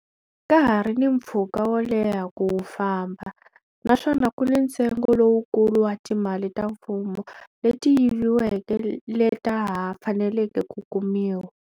Ka ha ri ni mpfhuka wo leha ku wu famba, naswona ku ni ntsengo lowukulu wa timali ta mfumo leti yiviweke leta ha faneleke ku kumiwa.